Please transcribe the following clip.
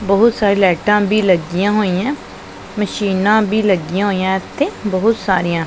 ਬਹੁਤ ਸਾਰੀ ਲਾਈਟਾਂ ਵੀ ਲੱਗਿਆ ਹੋਈ ਹੈਂ ਮਸ਼ੀਨਾਂ ਵੀ ਲੱਗਿਆ ਹੋਈਆਂ ਏੱਥੇ ਬਹੁਤ ਸਾਰੀਆਂ।